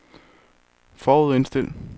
forudindstil